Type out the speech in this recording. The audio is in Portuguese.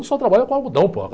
Eu só trabalho com algodão, pô.